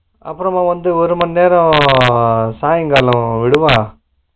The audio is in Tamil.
அப்பறமா வந்து ஒருமண்நேரோ சாமிபாருல விடுவான்